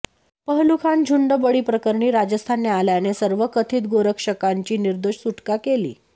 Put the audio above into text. पहलू खान झुंडबळीप्रकरणी राजस्थान न्यायालयाने सर्व कथित गोरक्षकांची निर्दोष सुटका केली